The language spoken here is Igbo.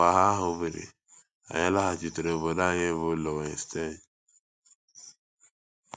Mgbe agha ahụ biri, anyị laghachitere obodo anyị bụ́ Löwenstein.